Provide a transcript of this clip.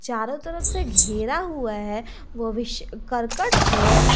चारों तरफ से घेरा हुआ है वो भी करकट से।